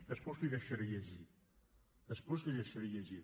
després l’hi deixaré llegir després l’hi deixaré llegir